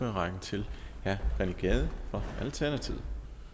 rækken til herre rené gade fra alternativet